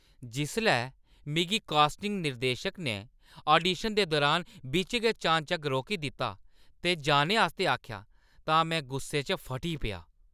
जिसलै मिगी कास्टिंग निर्देशक ने आडीशन दे दुरान बिच्च गै चानचक्क रोकी दित्ता ते जाने आस्तै आखेआ तां में गुस्से च फटी पेआ।